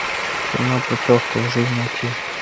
кино путевка в жизнь найти